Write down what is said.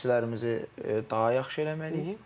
Məşqçilərimizi daha yaxşı eləməliyik.